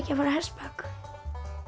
að fara á hestbak